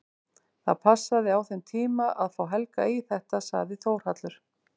Það passaði á þessum tíma að fá Helga í þetta, sagði Þórhallur.